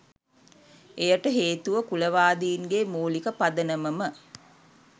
එයට හේතුව කුලවාදීන්ගේ මූලික පදනමම